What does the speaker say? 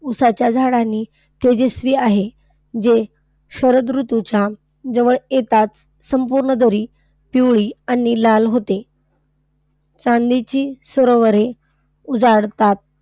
ऊसाच्या झाडांनी तेजस्वी आहे जे शरद ऋतूच्या जवळ येताच संपूर्ण दरी पिवळी आणि लाल होते. चांदणीची सरोवरे उजळतात.